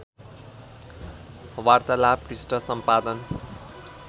वार्तालाप पृष्ठ सम्पादन